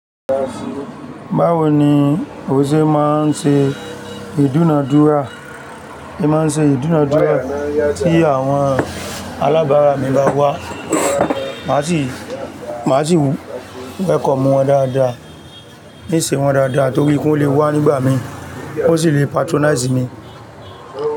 Báwo ni, òun ṣé máa ń ṣe ìdúnadúrà, èmi máa ń ṣe ìdúnadúrà tí àwọn alábára mi bá wá. Máa sì, máa sì wù wẹ̀kọ̀ mú wọn dáadáa, ní ṣe wọ́n dáadáa torí pé ó lè wá nígbà mi, ó sì le patronize mi.